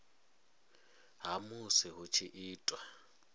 ha musi hu tshi itwa